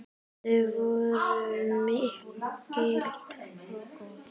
Þau voru mikil og góð.